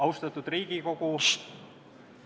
Austatud Riigikogu!